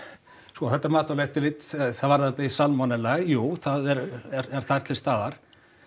sko þetta matvælaeftirlit það varðandi salmonellu þá jú það er þar til staðar